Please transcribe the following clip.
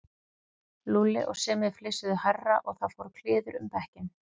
Lúlli og Simmi flissuðu hærra og það fór kliður um bekkinn.